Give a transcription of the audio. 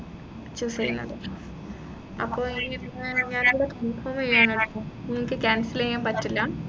choose ചെയ്യുന്നത് അപ്പൊ ഏർ ഞാനിത് confirm ചെയ്യാണ്. നിങ്ങൾക്ക് cancel ചെയ്യാൻ പറ്റില്ല